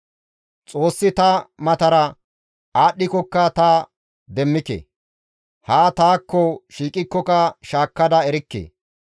«Xoossi ta matara aadhdhikokka ta demmike; haa taakko shiiqikkoka shaakkada erikke.